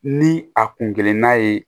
Ni a kun geren n'a ye